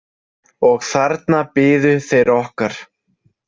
Og þarna biðu þeir okkar.